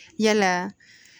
Yalaa